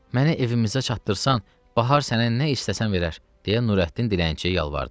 Məni evimizə çattırsan, Bahar sənə nə istəsən verər, deyə Nurəddin dilənçiyə yalvardı.